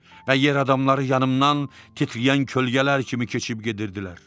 Və yer adamları yanımdan titrəyən kölgələr kimi keçib gedirdilər.